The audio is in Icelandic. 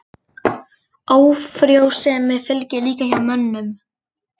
Ófrjósemi fylgir líka hjá mönnum.